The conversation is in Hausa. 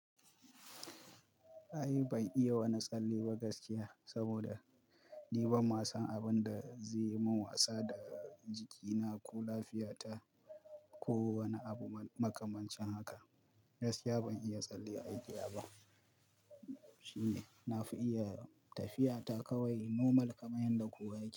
Ai ban iya wani tsalle ba gaskiya saboda ni ban ma san abin da zai yi mun wasa da jikina ko lafiyata ko wani abu makamancin haka. Gaskiya ban iya tsalle a igiya ba. Shine na fi iya tafiya ta kawai nomal kamar yadda kowa yake yi.